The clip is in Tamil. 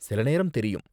சில நேரம் தெரியும்.